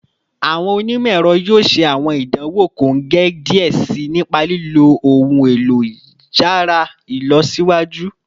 Awọn onimọ-ẹrọ yoo ṣe awọn idanwo kongẹ diẹ sii nipa lilo ohun elo yàrá ilọsiwaju